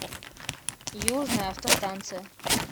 южная автостанция